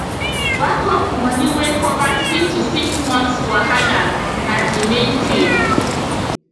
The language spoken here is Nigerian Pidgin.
backup money wey cover three to six months wahala na the main thing